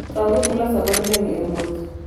Kaw gik miloso godo lewni e wuoth.